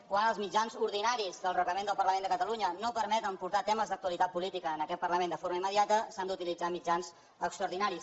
quan els mitjans ordinaris del reglament del parlament de catalunya no permeten portar temes d’actualitat política en aquest parlament de forma immediata s’han d’utilitzar mitjans extraordinaris